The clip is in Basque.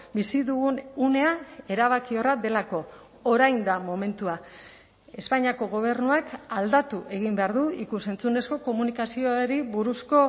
bizi dugun unea erabakiorra delako orain da momentua espainiako gobernuak aldatu egin behar du ikus entzunezko komunikazioari buruzko